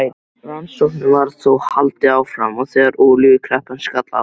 Rannsóknum var þó haldið áfram, og þegar olíukreppan skall á